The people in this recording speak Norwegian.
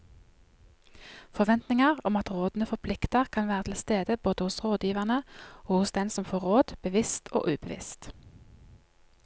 Forventninger om at rådene forplikter kan være til stede både hos rådgiverne og hos den som får råd, bevisst og ubevisst.